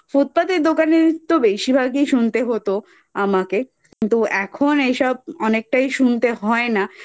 Footpath এর দোকানে তো বেশিরভাগই শুনতে হতো আমাকে তো এখন এসব অনেকটাই শুনতে হয় না।